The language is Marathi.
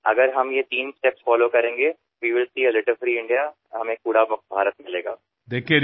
जर आपण या तीन टप्प्यांचा अवलंब केला तर आपल्याला निश्चितच कचरामुक्त भारत दिसू शकतो